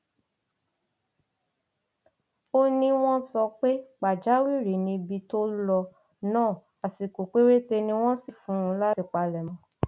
ó ní wọn sọ pé pàjáwìrì níbi tó lọ náà àsìkò péréte ni wọn sì fún un láti palẹmọ